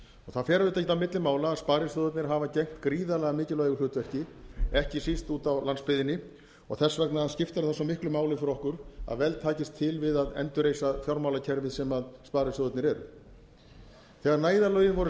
það fer auðvitað ekkert á milli mála að sparisjóðirnir hafa gegnt gríðarlega mikilvægu hlutverki ekki síst úti á landsbyggðinni þess vegna skiptir það svo miklu máli fyrir okkur að vel takist til við að endurreisa fjármálakerfið sem sparisjóðirnir eru þegar neyðarlögin voru